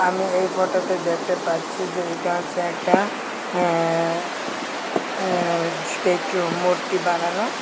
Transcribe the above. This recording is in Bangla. আমি এই ফোটোতে দেখতে পাচ্ছি যে এটা হচ্চে একটা অ্যা স্টেচু মূর্তি বানানো।